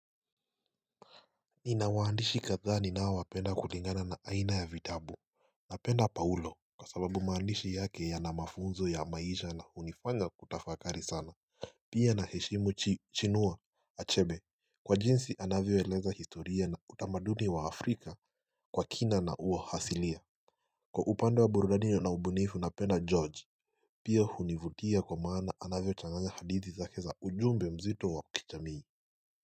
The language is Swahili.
Ninawaandishi kadhaa ninaowapenda kulingana na aina ya vitabu Napenda paulo kwa sababu maandishi yake yana mafunzo ya maisha na hunifanya kutafakari sana Pia naheshimu chinuo achebe Kwa jinsi anavyoeleza historia na utamaduni wa afrika kwa kina na uo hasilia Kwa upande wa burudani na ubunifu napenda George Pia hunivutia kwa maana anavyochanganya hadithi zake za ujumbe mzito wa kichamii.